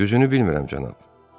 Düzünü bilmirəm, cənab.